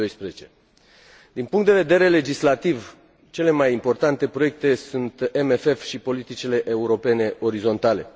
2012. Din punct de vedere legislativ, cele mai importante proiecte sunt CFM și politicile europene orizontale.